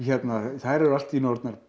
þær eru allt í einu orðnar